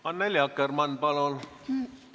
Annely Akkermann, palun!